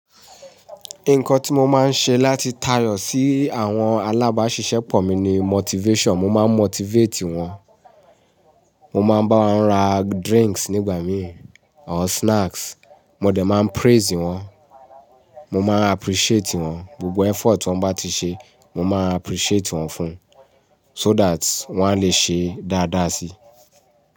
Nǹkan tí mo máa ń ṣe láti tayò sí àwọn alábáṣiṣẹ́ pọ̀ mi ni motivation. Mo máa ń motivate wọ́n, mo máa ń bá wọn ra drinks nígbà míì or snacks. Mo dẹ̀ máa ń praise wọ́n, mo máa n jappreciate wọ́n, gbogbo effort wọ́n bá ti ṣe, mo máa appreciate wọ́n fún, so that wọ́n á le ṣe dáadáa si.